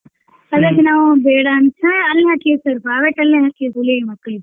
ಅದಕ್ ನಾವ್ ಬೇಡ ಅಂತ್ ಅಲ್ ಹಾಕೇವ್ sir ಬಾಳ ಮಕ್ಳಿಗೆ.